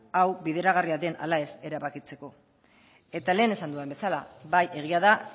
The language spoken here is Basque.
hau bideragarria den ala ez erabakitzeko eta lehen esan dudan bezala bai egia da